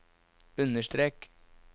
understrek